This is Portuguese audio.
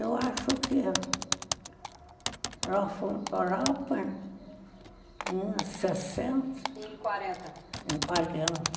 Eu acho que nós fomos para Europa em sessenta. Em quarenta, em quarenta.